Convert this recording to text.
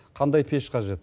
қандай пеш қажет